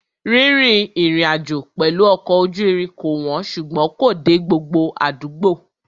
Rírìn ìrìnàjò pẹ̀lú ọkọ̀ ojú irin kò wọ́n ṣùgbọ́n kò dé gbogbo àdúgbò.